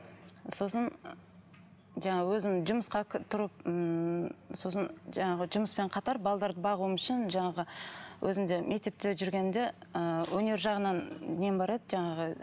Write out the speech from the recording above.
сосын жаңағы өзім жұмысқа тұрып ммм сосын жаңағы жұмыспен қатар бағуым үшін жаңағы өзім де мектепте жүргенімде ы өнер жағынан нем бар еді жаңағы